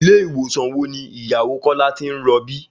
Ilé ìwòsàn wo ni ìyàwó Kọ́lá ti ń rọbí?